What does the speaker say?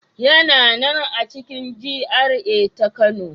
Yana nan a cikin GRA ta Kano.